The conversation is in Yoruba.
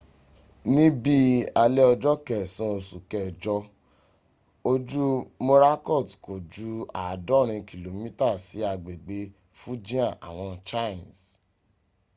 ní bí alẹ́ ọjọ́ kẹsan oṣù kẹjọ ojú morakot kò ju àádọ́rin kìlómítà sí agbegbè fujian àwọn chines